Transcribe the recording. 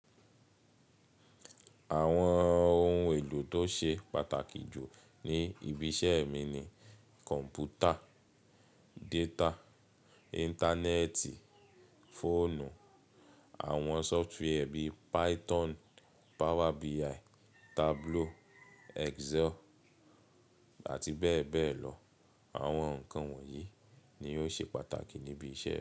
Àwọn ohun èlò tó ṣe pàtàkì jù ní ibi iṣẹ́ mi ni kọ̀m̀pútà, data, Íńtánẹ́ẹ̀tì, fóònù, àwọn sọfitiwẹ́ bí i Python, Power BI, Tableau, Excel àti bẹ́ẹ̀ bẹ́ẹ̀ lọ. Àwọn nǹkan wọ̀nyí ni ó ṣe pàtàkì níbi iṣẹ́ mi.